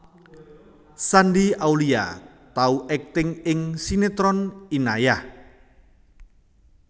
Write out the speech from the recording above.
Shandy Aulia tau akting ing sinetron Inayah